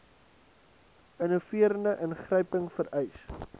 innoverende ingryping vereis